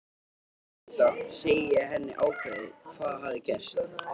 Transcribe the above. Vildi vita, segi ég henni ákveðið, hvað hafði gerst.